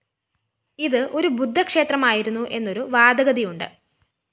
ഇത് ഒരു ബുദ്ധ ക്ഷേത്രമായിരുന്നു എന്നൊരു വാദഗതിയുണ്ട്